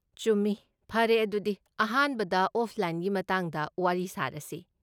ꯆꯨꯝꯃꯤ, ꯐꯔꯦ, ꯑꯗꯨꯗꯤ ꯑꯍꯥꯟꯕꯗ ꯑꯣꯐꯂꯥꯏꯟꯒꯤ ꯃꯇꯥꯡꯗ ꯋꯥꯔꯤ ꯁꯥꯔꯁꯤ꯫